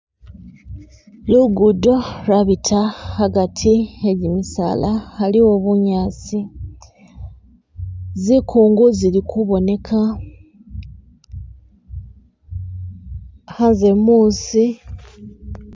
Lugudo lwabita hagati hegimisaala haliwo bunyasi, Zikungu zili kuboneka, Hanze musi